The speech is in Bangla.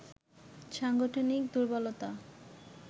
সাংগঠনিক দুর্বলতা